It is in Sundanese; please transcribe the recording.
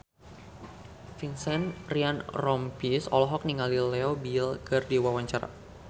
Vincent Ryan Rompies olohok ningali Leo Bill keur diwawancara